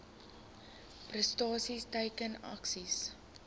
prestasie teiken aksies